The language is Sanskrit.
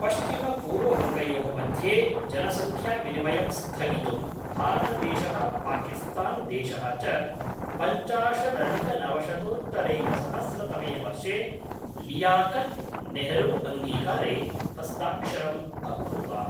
पश्चिमपूर्ववङ्गयोः मध्ये जनसङ्ख्याविनिमयं स्थगितुं, भारतदेशः पाकिस्तान्देशः च पञ्चाशाधिकनवशतोत्तरैकसहस्रतमे वर्षे लियाकत् नेहरूअङ्गीकारे हस्ताक्षरम् अकुरुताम्।